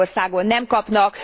Magyarországon nem kapnak.